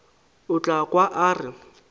o tla kwa a re